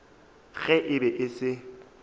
ge e be e se